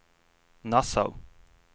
Nassau